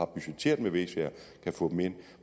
budgetteret med v sager kan få dem ind